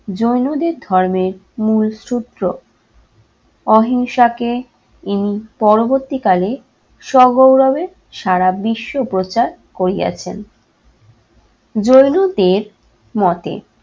জৈনদের ধর্মের মুল সূত্র অহিংসাকে ইনি পরবর্তীকালে সগৌরবে সারা বিশ্ব প্রচার করিয়াছেন। জৈনদের মতে